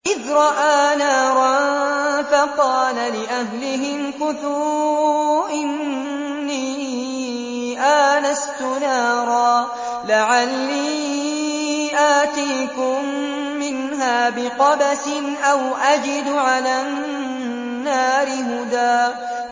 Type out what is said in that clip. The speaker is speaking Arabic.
إِذْ رَأَىٰ نَارًا فَقَالَ لِأَهْلِهِ امْكُثُوا إِنِّي آنَسْتُ نَارًا لَّعَلِّي آتِيكُم مِّنْهَا بِقَبَسٍ أَوْ أَجِدُ عَلَى النَّارِ هُدًى